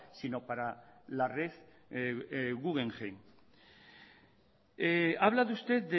sino para la red guggenheim ha hablado usted